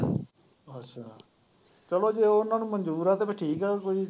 ਅੱਛਾ ਚਲੋ ਜੇ ਉਹਨਾਂ ਨੂੰ ਮਨਜੂਰ ਆ ਤੇ ਫਿਰ ਠੀਕ ਆ ਵੀ।